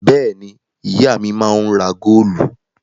Bẹ́ẹ̀ ni, ìyá mi máa ń ra góólù.